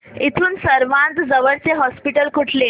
इथून सर्वांत जवळचे हॉस्पिटल कुठले